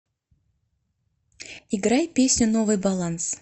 играй песню новый баланс